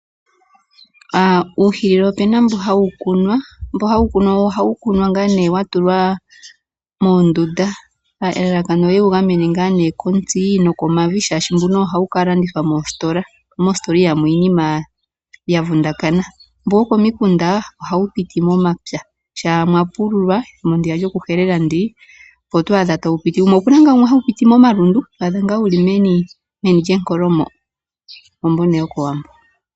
Uuhilili opu na mbo hawu kunwa. Mbu hawu kunwa ohawu kunwa ngaa nee wa tulwa moondunda elalakano oye wu gamene kontsi nokomavi, shaashi mbuno owo hawu ka landithwa moositola mo moositola ihamu yi iinima ya vundakana. Mbu wokomikunda ohawu piti momapya shaa mwa pululwa ethimbo ndiya lyokuhelela, opo to adha tawu piti. Opu na ngaa wumwe hawu piti momalundu ho adha ngaa wu li meni lyenkolo mo. Owo mbu nee wokOwambo.